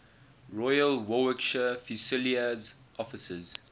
royal warwickshire fusiliers officers